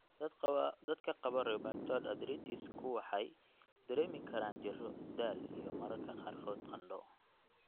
Dadka qaba rheumatoid arthritis-ku waxay dareemi karaan jirro, daal, iyo mararka qaarkood qandho.